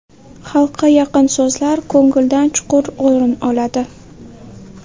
Xalqqa yaqin so‘zlar ko‘ngildan chuqur o‘rin oladi.